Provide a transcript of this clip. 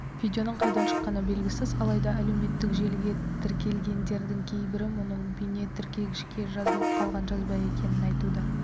видеоның қайдан шыққаны белгісіз алайда әлеуметтік желіге тіркелгендердің кейбірі мұның бейнетіркегішке жазылып қалған жазба екенін айтуда